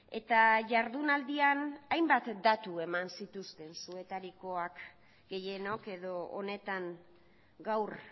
eta jardunaldian hainbat datu eman zituzten zuetariko gehienok edo honetan gaur